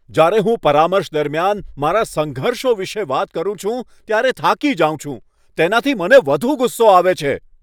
જ્યારે હું પરામર્શ દરમિયાન મારા સંઘર્ષો વિશે વાત કરું છું, ત્યારે થાકી જાઉં છું. તેનાથી મને વધુ ગુસ્સો આવે છે.